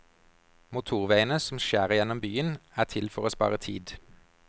Motorveiene, som skjærer gjennom byen, er til for å spare tid.